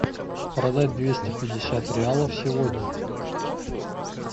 продать двести пятьдесят реалов сегодня